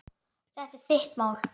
Þetta er þitt mál.